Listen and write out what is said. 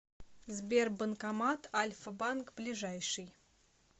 сбер банкомат альфа банк ближайший